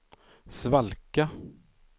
svalka